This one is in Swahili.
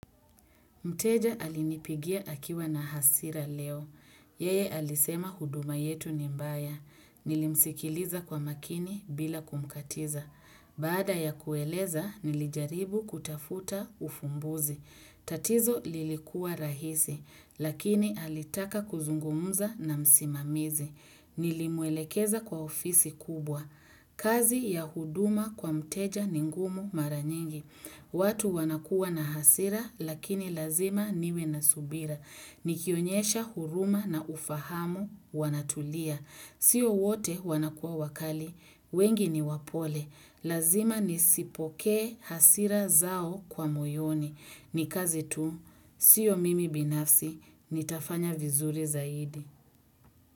Mteja alinipigia akiwa na hasira leo. Yeye alisema huduma yetu ni mbaya. Nilimsikiliza kwa makini bila kumkatiza. Baada ya kueleza, nilijaribu kutafuta ufumbuzi. Tatizo lilikuwa rahisi, lakini alitaka kuzungumza na msimamizi. Nilimwelekeza kwa ofisi kubwa. Kazi ya huduma kwa mteja ningumu maranyingi. Watu wanakuwa na hasira lakini lazima niwe na subira. Nikionyesha huruma na ufahamu wanatulia. Sio wote wanakuwa wakali. Wengi ni wapole. Lazima nisipokee hasira zao kwa moyoni. Nikazi tu. Sio mimi binafsi. Nitafanya vizuri zaidi.